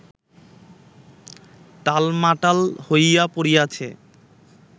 টালমাটাল হইয়া পড়িয়াছে